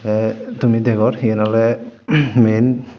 tey tumi degor eyen oley men.